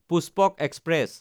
Pushpak express